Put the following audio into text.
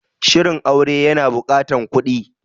Shirin aure ya na buƙatan kuɗi